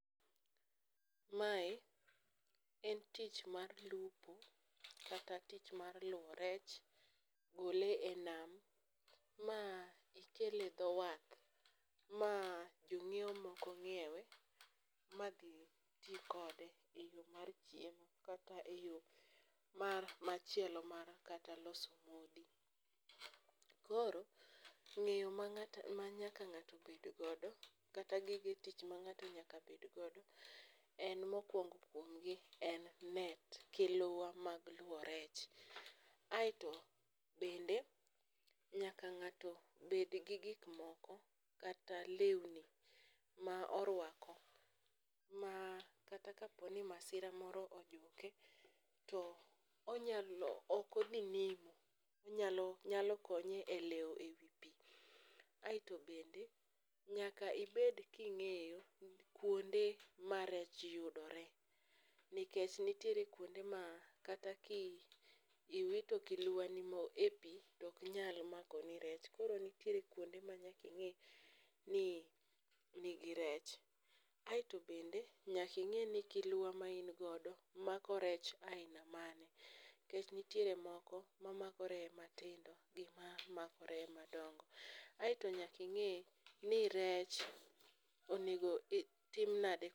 Mae en tich mar lupo kata tich mar luwo rech gole e nam ma ikele dho wath ma jong'iwo moko ng'iewe ma dhi ti kode e yo mar chiemo kata e yo machielo mar kata loso modhi. Koro ng'eyo ma nyaka ng'ato bedgodo kata gige tich ma ng'ato nyakabedgodo en mokwongo kuomgi en net kiluwa mag luwo rech, aeto bende nyaka ng'ato bedgi gikmoko kata lewni ma orwako ma kata kaponi masira moro ojuke to okodhi nimo nyalo konye e lewo e wi pi. Aeto bende nyaka ibed king'eyo kuonde ma rech yudore nikech nitiere kuonde ma kata kiwito kiluwa ni mo e pi toknyal makoni rech koro nitiere kuonde ma nyaka ing'e ni nigi rech. Aeto bende nyaking'e ni kiluwa maingodo mako rech aina mage nikech nitiere moko mamako reye matindo gi mamako reye madongo. Aeto nyaking'e ni rech onego tim nade.